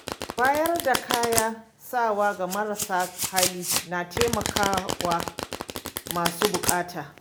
Bayar da kayan sawa ga marasa hali na taimaka wa masu bukata.